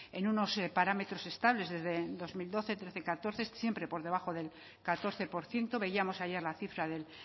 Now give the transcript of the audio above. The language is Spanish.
en unos parámetros estables desde dos mil doce trece catorce siempre por debajo del catorce por ciento veíamos ayer la cifra del